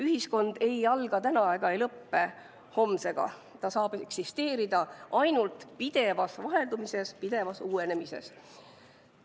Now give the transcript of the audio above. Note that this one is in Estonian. Ühiskond ei alga täna ega lõppe homsega, ta saab eksisteerida ainult pidevas vaheldumises, pidevas uuenemises.